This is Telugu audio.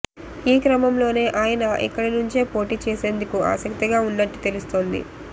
ఈ క్రమంలోనే ఆయన ఇక్కడ నుంచే పోటీ చేసేందుకు ఆసక్తిగా ఉన్నట్టు తెలుస్తోంది